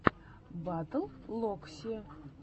батл локси